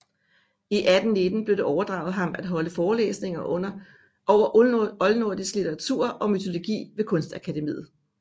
I 1819 blev det overdraget ham at holde forelæsninger over oldnordisk litteratur og mytologi ved Kunstakademiet